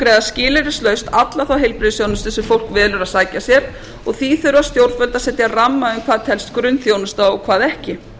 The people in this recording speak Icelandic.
niðurgreiða skilyrðislaust alla þá heilbrigðisþjónustu sem fólk velur að sækja sér og því þurfa stjórnvöld að setja ramma um hvað telst grunnþjónusta og hvað ekki